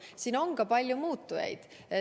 Siin on ka palju muutujaid.